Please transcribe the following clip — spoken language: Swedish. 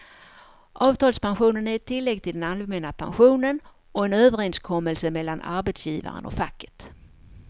Avtalspensionen är ett tillägg till den allmänna pensionen och en överenskommelse mellan arbetsgivaren och facket.